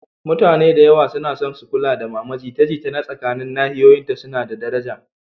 Mutane da yawa suna son su kula da mama, jita-jita na tsakanin nahiyoyinta suna da daraja.